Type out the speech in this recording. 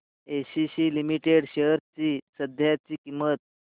ACC Limited shares ची सध्याची किंमत